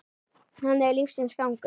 Þannig er lífsins gangur.